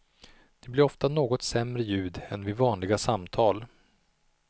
Det blir oftast något sämre ljud än vid vanliga samtal.